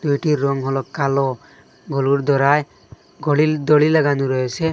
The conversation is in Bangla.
গরুটির রং হল কালো গোলুর দরায় গলির দড়ি লাগানো রয়েছে।